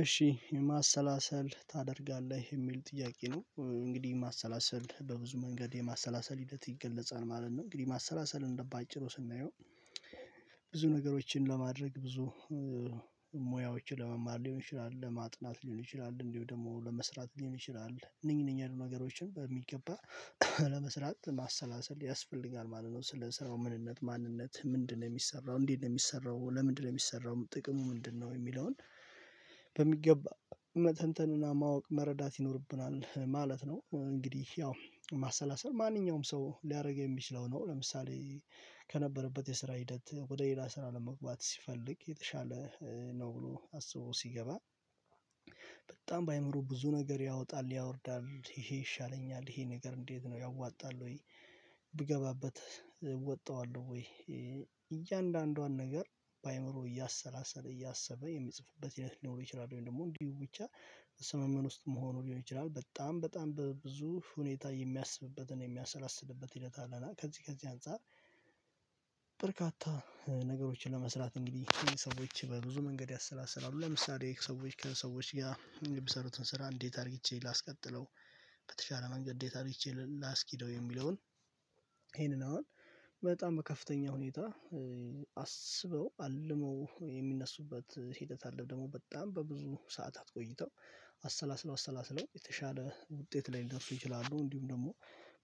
እሺ የማሰላሰል ታደርጋለህ የሚል ጥያቄ ነው እንግዲህ ማሰላሰል በብዙ መንገድ የማሰላሰል ሂደት ይገለጻል ማለት ነው። እንግዲህ ማሰላሰል እንደው ባጭሩ ስናየው። ብዙ ነገሮችን ለማድረግ ብዙ ሙያዎችን ለመማር ሊሆን ይችላል ለማጥናት ሊሆን ይችላል እንዲሁም ደግሞ ለመስራት ሊሆን ይችላል እነኚህ እነኚህ ያሉ ነገሮችን በሚገባ ለመስራት ማሰላሰል ያስፈልጋል ማለት ነው። ስለሰራው ምንነት ማንነት ምንድነው የሚሰራው እንዲህ ነው የሚሰራው ለምንድነው የሚሰራው ጥቅሙ ምንድነው የሚለውን? በሚገባ መተንተንና ማወቅ መረዳት ይኖርብናል ማለት ነው። እንግዲህ ያው ማሰላሰል ማንኛውም ሰው ሊያደርግ የሚችለው ነው። ለምሳሌ ከነበረበት የስራ ሂደት ወደ ሌላ ስራ ለመግባት ሲፈልግ የተሻለ ነው ብሎ አስቦ ሲገባ። በጣም በአእምሮ ብዙ ነገር ያወጣል ያወርዳል ይሄ ይሻለኛል ይሄ ነገር እንዴት ነው ያዋጣል ወይ ብገባበት እወጣዋለሁ ወይ እያንዳንዷን ነገር? በአእምሮ እያሰላሰለ እያሰበ የሚጽፉበት ይለት ሊኖሩ ይችላሉ ደግሞ እንዲሁ ብቻ ስመመን ውስጥ መሆኑ ሊሆን ይችላል በጣም በጣም በብዙ ሁኔታ የሚያስብበትን የሚያሰላስልበት ሂደት አለ። እና ከዚህ ከዚህ አንፃር። በርካታ ነገሮችን ለመስራት እንግዲህ ሰዎች በብዙ መንገድ ያሰላስላሉ ለምሳሌ ሰዎች ጋር ሰውች ጋር የሚሰሩትን ስራ እንዴት አርጌቼ ላስቀጥለው በተቻለ መንገድ እንዴት አርጌቼ ላስኪደው የሚለውን ይሄንን አሁን በጣም በከፍተኛ ሁኔታ አስበው አልመው የሚነሱበት ሂደት አለ። ደግሞ በጣም በብዙ ሰዓታት ቆይተው አሰላስለው አሰላስለው የተሻለ ውጤት ላይ ሊደርሱ ይችላሉ። እንዲሁም ደግሞ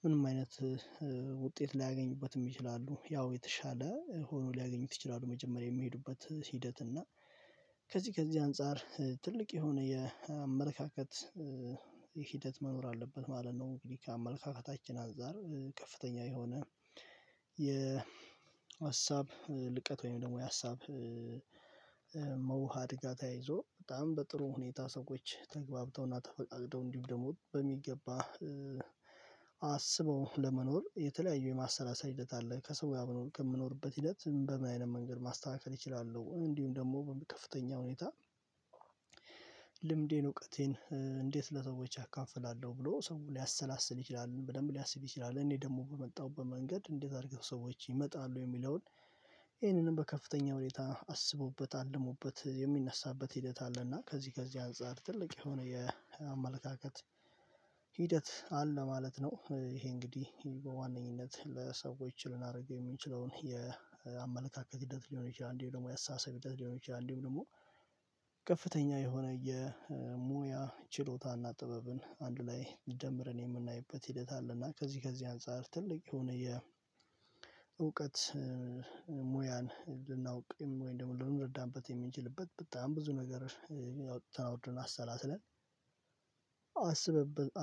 ምንም አይነት ውጤት ላያገኙበትም ይችላሉ ያው የተሻለ ሆኖ ሊያገኙት ይችላሉ። መጀመሪያ የሚሄዱበት ሂደት እና ከዚህ ከዚህ አንፃር ትልቅ የሆነ የአመለካከት ሂደት መኖር አለበት ማለት ነው። እንግዲህ ከአመለካከታችን አንፃር ከፍተኛ የሆነ የሀሳብ ልቀት ወይም ደግሞ የሀሳብ መውሃድ ጋር ተያይዞ በጣም በጥሩ ሁኔታ ሰዎች ተግባብተውና ተፈቃቅደው እንዲሁም ደግሞ በሚገባ አስበው ለመኖር የተለያዩ የማሰላሰል ሂደት አለ ከሰው ጋር አብሮ ከምንኖርበት ሂደት በምን አይነት መንገድ ማስተካከል እችላለሁ። እንዲሁም ደግሞ ከፍተኛ ሁኔታ ልምዴን እውቀቴን እንዴት ለሰዎች አካፍላለሁ ብሎ ሰው ሊያሰላስል ይችላል። በደንብ ሊያስብ ይችላል እኔ ደግሞ በመጣሁበት በመንገድ እንዴት አድርገው ሰዎች ይመጣሉ የሚለውን ይሄንንም በከፍተኛ ሁኔታ አስቦበት አልሞበት የሚነሳበት ሂደት አለና ከዚህ ከዚህ አንፃር ትልቅ የሆነ የአመለካከት ሂደት አለ ማለት ነው። ይሄ እንግዲህ በዋነኝነት ለሰዎች ልናደርገው የምንችለውን የአመለካከት ሂደት ሊሆን ይችላል እንዲሁም ደግሞ ያሳሳቢ ሂደት ሊሆን ይችላል። እንዴም ደግሞ ከፍተኛ የሆነ የሙያ ችሎታና ጥበብን አንድ ላይ ደምረን የምናይበት ሂደት አለና ከዚህ ከዚህ አንፃር ትልቅ የሆነ የእውቀት ሙያን ልናውቅም ወይ እንደምረዳንበት የምንችልበት በጣም ብዙ ነገር ተናውርን አሰላስለን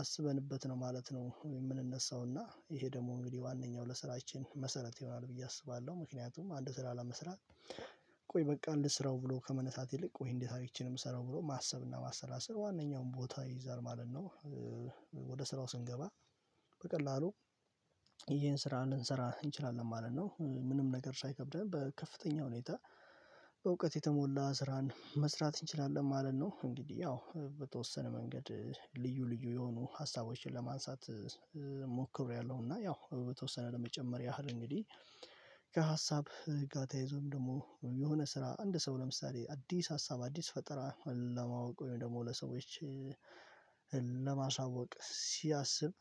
አስበንበት ነው ማለት ነው። የምንነሳውና ይሄ ደግሞ እንግዲህ ዋነኛው ለስራችን መሰረት ይሆናል ብዬ አስባለሁ ምክንያቱም አንድ ስራ ለመስራት ቆይ በቃ እንስራው ብሎ ከመነሳት ይልቅ ወይ እንዴት አርግቼ ነው የምሰራው ብሎ ማሰብ እና ማሰላሰል ዋናኛዉን ቦታ ይይዛል ማለት ነው። ወደ ስራው ስንገባ በቀላሉ ይሄን ስራ ልንሰራ እንችላለን ማለት ነው ምንም ነገር ሳይከብደን በከፍተኛ ሁኔታ በእውቀት የተሞላ ስራን መስራት እንችላለን ማለት ነው። እንግዲህ ያው በተወሰነ መንገድ ልዩ ልዩ የሆኑ ሀሳቦችን ለማንሳት እና ያው በተወሰነ ለመጨመር ያህል እንግዲህ ጋር ተያይዞም ደግሞ የሆነ ስራ አንድ ሰው ለምሳሌ አዲስ ሀሳብ አዲስ ፈጠራ ለማወቅ ወይም ደግሞ ለሰዎች ለማሳወቅ ሲያስብ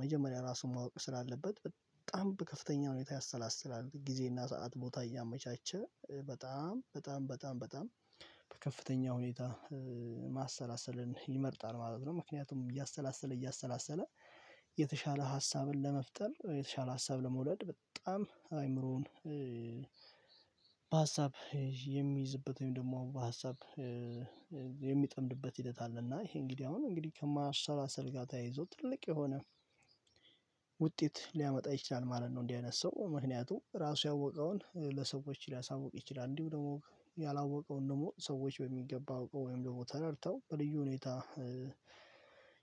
መጀመሪያ ራሱን ማወቅ ስላለበት በጣም ከፍተኛ ሁኔታ ያሰላስላል ጊዜና ሰዓት ቦታ እያመቻቸ በጣም በጣም በጣም በጣም በጣም በከፍተኛ ሁኔታ ማሰላሰልን ይመርጣል ማለት ነው። ምክንያቱም እያሰላሰለ እያሰላሰለ የተሻለ ሀሳብን ለመፍጠር የተሻለ ሀሳብ ለመውለድ በጣም አይምሮን በሀሳብ የሚይዝበትን ደግሞ በሀሳብ የሚጠምድበት ሂደት አለና ይሄ እንግዲህ አሁን እንግዲህ ከማሰላሰል ጋር ተያይዞ ትልቅ የሆነ ውጤት ሊያመጣ ይችላል ማለት ነው። እንደህ አይነት ሰው ምክንያቱም ራሱ ያወቀውን ለሰዎች ሊያሳውቅ ይችላል እንዲሁ ደግሞ ያላወቀውን ደግሞ ሰዎች በሚገባ አውቀው ወይም ደግሞ ተረድተው በልዩ ሁኔታ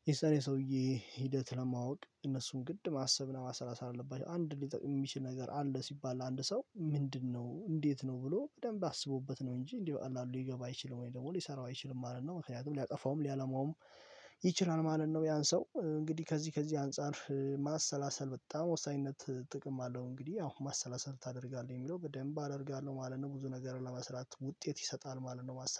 ይሰራል ሰውዬ ሂደት ለማወቅ እነሱን ግድ ማሰብና ማሰላሰል አለባቸው አንድ የሚጠቅም የሚችል ነገር አለ። ሲባል አንድ ሰው ምንድነው እንዴት ነው ብሎ በደንብ አስቦበት ነው እንጂ እንዲህ በዓሉ ሊገባ አይችልም ወይ ደግሞ ሊሰራው አይችልም ማለት ነው። ምክንያቱም ሊያጠፋውም ሊያለማውም ይችላል ማለት ነው። ያን ሰው እንግዲህ ከዚህ ከዚህ አንፃር ማሰላሰል በጣም ወሳኝነት ጥቅም አለው። እንግዲህ ያው ማሰላሰል ታደርጋለህ የሚለው በደንብ አደርጋለሁ ማለት ነው ብዙ ነገር ለመስራት ውጤት ይሰጣል ማለት ነው። ማሰል